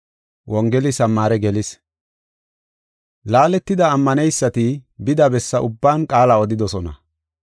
Laaletida ammaneysati bida bessa ubban qaala odidosona.